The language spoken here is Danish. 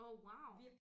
Åh wow